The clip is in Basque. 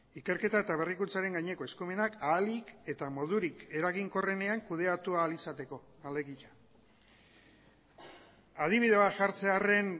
ikerketa eta berrikuntzaren gaineko eskumenak ahalik eta modurik eraginkorrenean kudeatu ahal izateko alegia adibide bat jartzearren